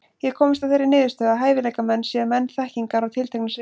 Ég hef komist að þeirri niðurstöðu, að hæfileikamenn séu menn þekkingar á tilteknu sviði.